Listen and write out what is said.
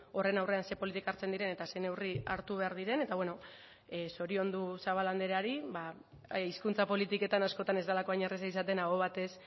horren aurrean ze politika hartzen diren eta ze neurri hartu behar diren eta bueno zoriondu zabala andreari ba hizkuntza politiketan askotan ez delako hain erraza izaten aho batez